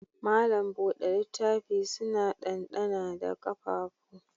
Malam buɗe littaf suna dandana da ƙafafu